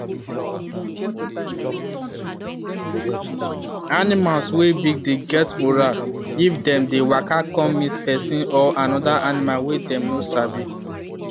animals wey big dey get moral if them dey waka come meet person or another animal wey them no sabi